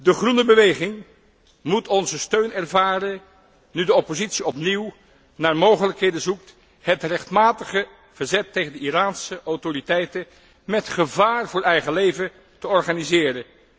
De Groene beweging moet onze steun ervaren, nu de oppositie opnieuw naar mogelijkheden zoekt het rechtmatige verzet tegen de Iraanse autoriteiten met gevaar voor eigen leven te organiseren.